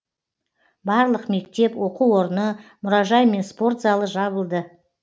барлық мектеп оқу орны мұражай мен спорт залы жабылды